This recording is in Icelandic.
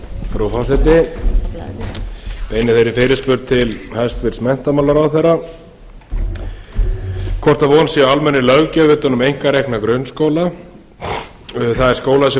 frú forseti ég beini þeirri fyrirspurn til hæstvirts menntamálaráðherra hvort von sé á almennri löggjöf utan um einkarekna grunnskóla það er skólar sem